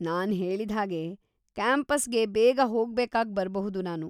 ನಾನ್‌ ಹೇಳಿದ್ಹಾಗೆ, ಕ್ಯಾಂಪಸ್ಗೆ ಬೇಗ ಹೋಗ್ಬೇಕಾಗ್‌ ಬರ್ಬಹುದು ನಾನು.